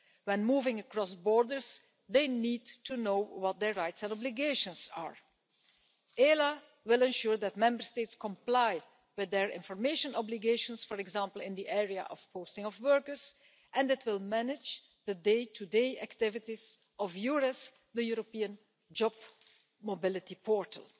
When moving across borders, they need to know what their rights and obligations are. ELA will ensure that Member States comply with their information obligations, for example in the area of posting of workers, and it will manage the day-to-day activities of EURES, the European job mobility portal.